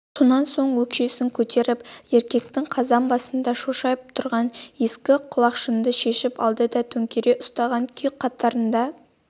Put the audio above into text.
сонан соң өкшесін көтеріп еркектің қазан басында шошайып тұрған ескі құлақшынды шешіп алды да төңкере ұстаған күй қатарында